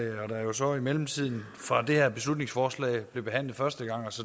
jo så i mellemtiden fra det her beslutningsforslag blev behandlet første gang